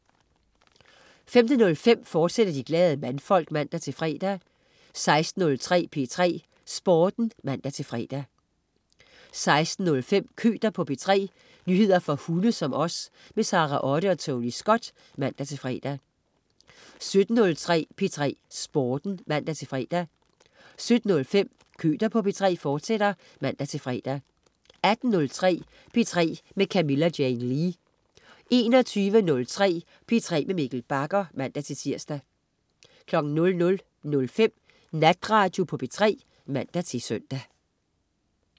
15.05 De Glade Mandfolk, fortsat (man-fre) 16.03 P3 Sporten (man-fre) 16.05 Køter på P3. nyheder for hunde som os. Sara Otte og Tony Scott (man-fre) 17.03 P3 Sporten (man-fre) 17.05 Køter på P3, fortsat (man-fre) 18.03 P3 med Camilla Jane Lea 21.03 P3 med Mikkel Bagger (man-tirs) 00.05 Natradio på P3 (man-søn)